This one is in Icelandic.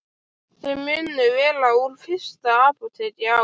Þau munu vera úr fyrsta apóteki á